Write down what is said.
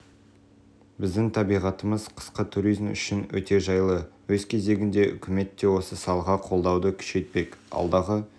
біздің табиғатымыз қысқы туризм үшін өте жайлы өз кезегінде үкімет те осы салаға қолдауды күшейтпек алдағы